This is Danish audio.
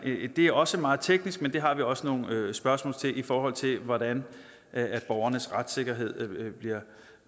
det er også meget teknisk men det har vi også nogle spørgsmål til i forhold til hvordan borgernes retssikkerhed